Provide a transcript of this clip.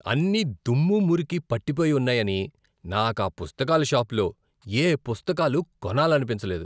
అన్నీదుమ్ము, మురికి పట్టిపోయి ఉన్నాయని నాకు ఆ పుస్తకాల షాప్లో ఏ పుస్తకాలు కొనాలనిపించలేదు.